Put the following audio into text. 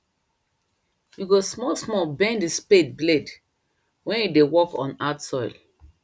you go small small bend the spade blade wen you dey work oh hard soil